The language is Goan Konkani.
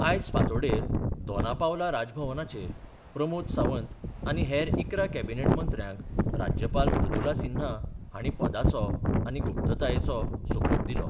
आयज फांतोडेर दोनापावला राजभवनाचेर प्रमोद सावंत आनी हेर इकरा कॅबिनेट मंत्र्याक राज्यपाल मृदुला सिन्हा हांणी पदाचो आनी गुप्ततायेचो सोपूत दिलो.